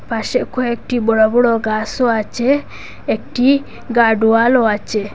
পাশে কয়েকটি বড় বড় গাসও আছে একটি গার্ডওয়ালও আছে।